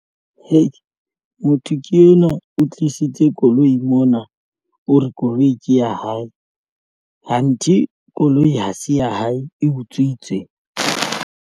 Hei motho ke enwa o tlisitse koloi mona o re koloi ke ya hae hanthe koloi ha se ya hae e utswitswe.